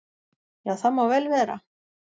"""Já, það má vel vera."""